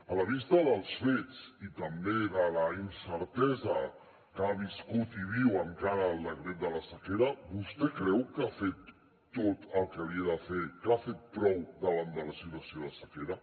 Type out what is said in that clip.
a la vista dels fets i també de la incertesa que ha viscut i viu encara el decret de la sequera vostè creu que ha fet tot el que havia de fer que ha fet prou davant de la situació de sequera